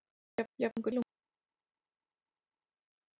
Jafnvel silungurinn hlær.